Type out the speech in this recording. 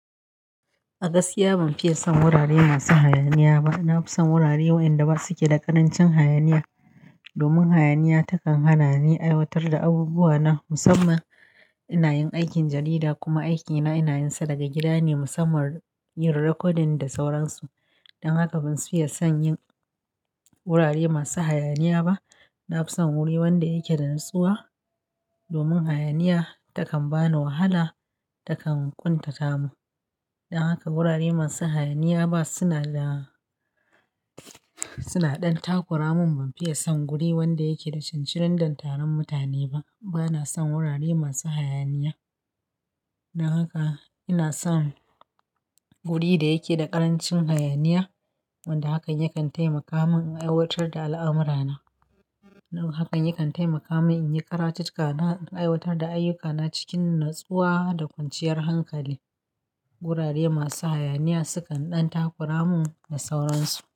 A gaskiya ban fiye son wurare masu hayaniya ba. Na fi son wurare wayanda ba suke da ƙarancin hayaniya domin hayaniya ta kan hana ni aiwatar da abubuwa na musamman. Inayin aikin jarida kuma aiki na inayin sa daga gida ne musamman yin rikodin da sauransu. Dan haka ban fiye son yin wurare masu hayaniya ba. Na fi son wuri wanda yake da natsuwa domin hayaniya ta kan bani wahala, ta kan ƙuntata mun. Dan haka wurare masu hayaniya ba suna da, suna ɗan takura mun. Ban fiye son guri wanda yake da cancirin dandano mutane ba. Bana son wurare masu hayaniya. Dan haka ina son guri da yake da ƙarancin hayaniya wanda hakan yakan taimaka mun in aiwatar da al'amura na. Hakan yakan taimaka mun in yi karatun na da aiwatar da ayyuka na cikin natsuwa da kwanciyar hankali. Wurare masu hayaniya su kan ɗan takura mu da sauransu.